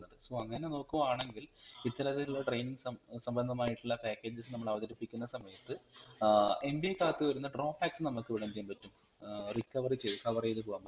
SO അങ്ങനെ നോക്കുകയാണെങ്കിൽ ഇത്തരത്തിലുള്ള training സംബ സമ്പന്നമായിട്ടുള്ള packages നമ്മൾ അവതരിപ്പിക്കുന്ന സമയത്ത് ഏർ MBA കാർക് വരുന്ന drawback നമ്മക് ഇവിടെ എന്തയ്യാൻ പറ്റും ഏർ recovery ചെയ്ത് cover ചെയ്തുപോകാൻ പറ്റും